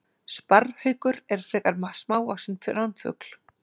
Sparrhaukur er frekar smávaxinn ránfugl.